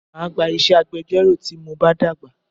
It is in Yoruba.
Máa gba iṣẹ́ agbẹjọ́rò tí mo bá dàgbà